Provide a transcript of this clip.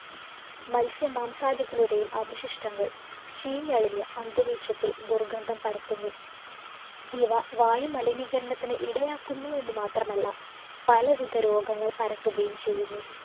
മത്സ്യ മാംസാദികളുടെയും അവശിഷ്ടങ്ങള്‍ ചീഞ്ഞളിഞ്ഞ് അന്തരീക്ഷത്തില്‍ ദുര്‍ഗന്ധം പരത്തുന്നു. ഇവ വായു മലിനീകരണത്തിന് ഇടയാക്കുന്നു എന്ന് മാത്രമല്ല, പലവിധ രോഗങ്ങള്‍ പരത്തുകയും ചെയ്യുന്നു.